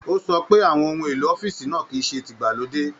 O sọ pé àwọn ohun èlò ọ̀fiísí náà kìí ṣe tígbàlódé.